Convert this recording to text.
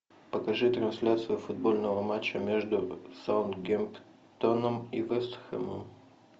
покажи трансляцию футбольного матча между саутгемптоном и вест хэмом